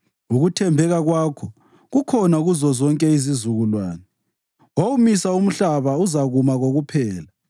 Ukuthembeka kwakho kukhona kuzozonke izizukulwane; wawumisa umhlaba, uzakuma kokuphela.